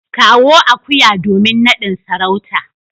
kawo akuya domin nadin sarauta.